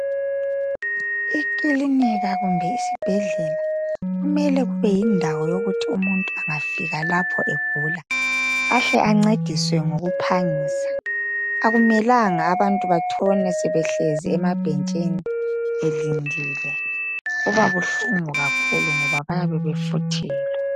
Ikilinika kumbe isibhedlela kumele kube yindawo yokuthi umuntu engafika lapho egula ahle ancediswe ngokuphangisa. Akumelanga abantu batshone sebehlezi emabhentshini belindile, kuba buhlungu kakhulu ngoba bayabe befuthelwa.